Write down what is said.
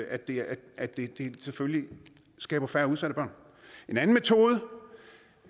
at det at det selvfølgelig skaber færre udsatte børn en anden metode